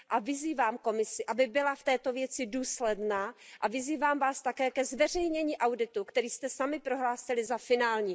Vyzývám Komisi, aby byla v této věci důsledná, vyzývám vás také ke zveřejnění auditu, který jste sami prohlásili za finální.